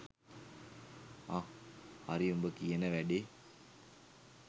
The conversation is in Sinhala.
අහ් හරි උඹ කියන වැඩේ